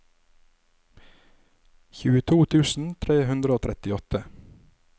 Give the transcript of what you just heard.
tjueto tusen tre hundre og trettiåtte